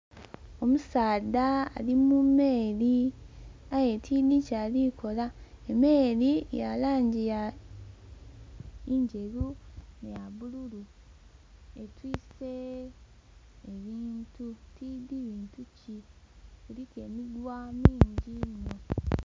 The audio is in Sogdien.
Omusaadha ali mu meeri, aye tiidhi kyali kukola, emeeri ya langi nderu, nh'eya bululu. Yetiise ebintu aye tiidhi biki, biliku emiguwa mingi.